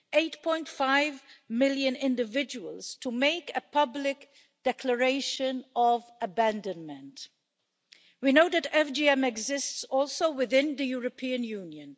8.5 million individuals, to make a public declaration of abandonment. We know that FGM exists also within the European Union.